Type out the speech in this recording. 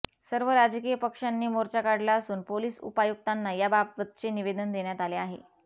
सर्व राजकीय पक्षांनी मोर्चा काढला असून पोलीस उपायुक्तांना या बाबतचे निवेदन देण्यात आले आहे